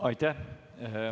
Aitäh!